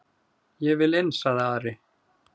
"""Ég vil inn, sagði Ari."""